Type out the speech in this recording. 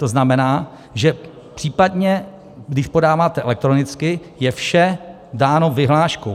To znamená, že případně když podáváte elektronicky, je vše dáno vyhláškou.